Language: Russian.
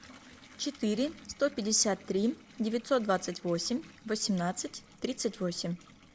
четыре сто пятьдесят три девятьсот двадцать восемь восемнадцать тридцать восемь